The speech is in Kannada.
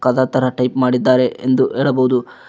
ಕದತರ ಟೈಪ್ ಮಾಡಿದರೆ ಎಂದು ಹೇಳಬಹುದು.